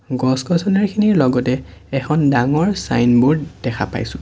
গছ-গছনিখিনিৰ লগতে এখন ডাঙৰ ছাইনব'ৰ্ড দেখা পাইছোঁ।